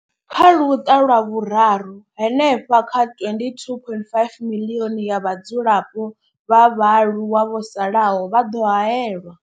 Kha Luṱa lwa Vhuraru, hanefha kha 22.5 miḽioni ya vhadzulapo vha vhaaluwa vho salaho vha ḓo haelwa.